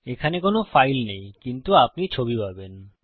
এখানে কোনো ফাইল নেই কিন্তু আপনি ছবি পাবেন